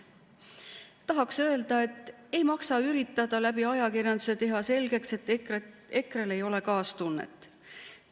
Tahaks öelda, et ei maksa üritada ajakirjanduse kaudu selgeks teha, et EKRE‑l ei ole kaastunnet.